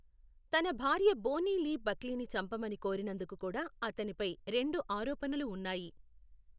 తన భార్య Bonnie Lee బక్లీని చంపమని కోరినందుకు కూడా అతనిపై రెండు ఆరోపణలు ఉన్నాయి.